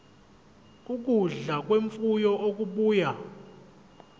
ukudla kwemfuyo okubuya